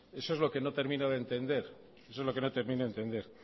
eso es lo que no termino de entender